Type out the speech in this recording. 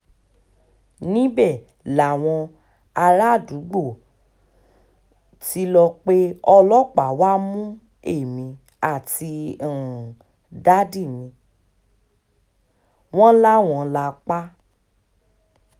níbẹ̀ làwọn àràádúgbò um tí lọ́ọ́ pé ọlọ́pàá wàá mú èmi àti um dádì mi wọ́n láwá là pa á